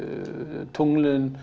tunglin